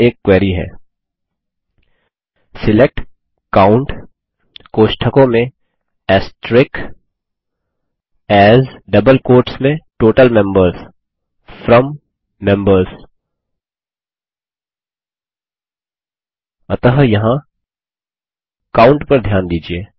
यहाँ एक क्वेरी है select COUNT as total members from members अतः यहाँ काउंट पर ध्यान दीजिये